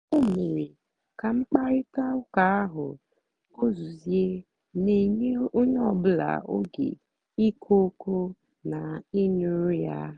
o mèrè kà mkpáịrịtà ụ́ka ahụ́ gùzòziè na-ènyé ònyè ọ́bụ́là ógè ìkwù ókwú na ị̀ nụ́rụ́ ya.